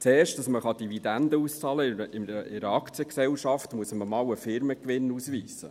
Damit man in einer Aktiengesellschaft Dividenden auszahlen kann, muss man zuerst mal einen Firmengewinn ausweisen.